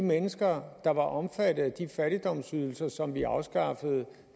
mennesker der var omfattet af de fattigdomsydelser som vi afskaffede